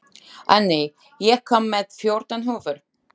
Anney, ég kom með fjórtán húfur!